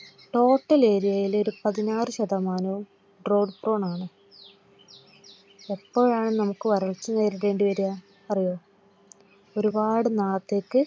ഏരിയയിലെ ഒരു പതിനാറു ശതമാനവും tod frone ആണ്. എപ്പോഴാണ് നമുക്ക് വരൾച്ചനേരിടേണ്ടി വരുക അറിയോ ഒരുപാട് നാളത്തേക്ക്